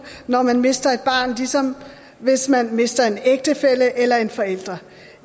når man mister et barn ligesom hvis man mister en ægtefælle eller en forælder